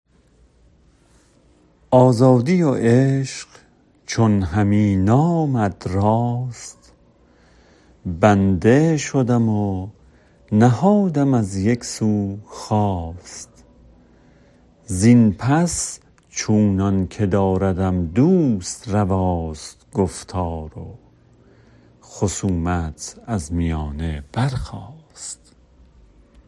آزادی و عشق چون همی نامد راست بنده شدم و نهادم از یک سو خواست زین پس چونان که داردم دوست رواست گفتار و خصومت از میانه برخاست